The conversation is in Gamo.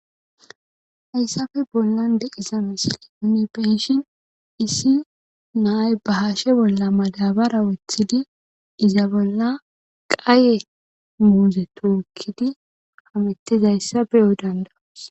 Haysape bolan di'za missilen nuni be'ishin issi na'ay ba hashe bola madabara wotidi iza bola qaye muze tokidi hametizaysa be'os danda'os.